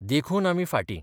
देखून आमी फाटीं.